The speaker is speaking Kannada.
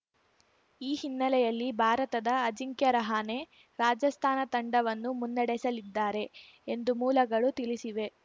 ಈ ಹಿನ್ನಲೆಯಲ್ಲಿ ಭಾರತದ ಅಜಿಂಕ್ಯ ರಹಾನೆ ರಾಜಸ್ಥಾನ ತಂಡವನ್ನು ಮುನ್ನಡೆಸಲಿದ್ದಾರೆ ಎಂದು ಮೂಲಗಳು ತಿಳಿಸಿವೆ